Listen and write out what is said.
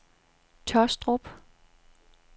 Taastrup